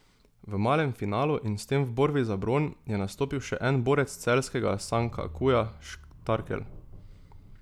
V malem finalu in s tem v borbi za bron je nastopil še en borec celjskega Sankakuja Štarkel.